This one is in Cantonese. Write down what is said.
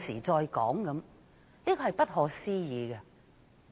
這真是不可思議。